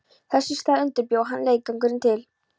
Þess í stað undirbjó hann leiðangurinn til